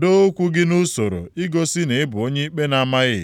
doo okwu gị nʼusoro igosi na ị bụ onye ikpe na-amaghị.